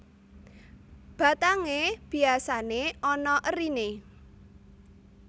Batangé biasané ana eriné